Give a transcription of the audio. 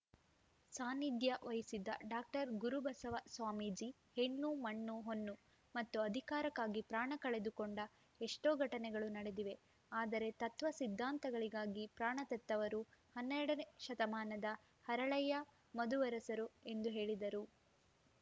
ಸಾನ್ನಿಧ್ಯ ವಹಿಸಿದ್ದ ಡಾಕ್ಟರ್ ಗುರುಬಸವ ಸ್ವಾಮೀಜಿ ಹೆಣ್ಣು ಮಣ್ಣು ಹೊನ್ನು ಮತ್ತು ಅಧಿಕಾರಕ್ಕಾಗಿ ಪ್ರಾಣ ಕಳೆದು ಕೊಂಡ ಎಷ್ಟೋ ಘಟನೆಗಳು ನಡೆದಿವೆ ಆದರೆ ತತ್ವ ಸಿದ್ಧಾಂತಗಳಿಗಾಗಿ ಪ್ರಾಣ ತೆತ್ತವರು ಹನ್ನೆರಡನೇ ಶತಮಾನದ ಹರಳಯ್ಯ ಮದುವರಸರು ಎಂದು ಹೇಳಿದರು